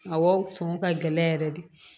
Awɔ sɔngɔ ka gɛlɛn yɛrɛ de